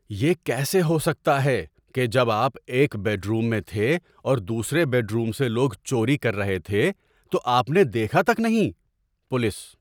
یہ کیسے ہو سکتا ہے کہ جب آپ ایک بیڈ روم میں تھے اور دوسرے بیڈ روم سے لوگ چوری کر رہے تھے، تو آپ نے دیکھا تک نہیں؟ (پولیس)